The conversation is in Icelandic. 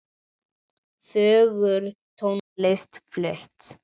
Fögur tónlist flutt.